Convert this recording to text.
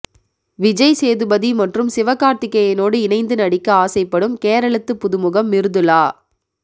விஜய் சேதுபதி மற்றும் சிவகார்த்திக்கேயனோடு இணைந்து நடிக்க ஆசைப்படும் கேரளத்து புதுமுகம் மிர்துளா